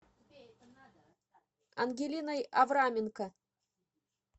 ангелиной авраменко